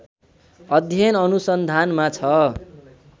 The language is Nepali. अध्ययन अनुसन्धानमा छ